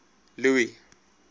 louis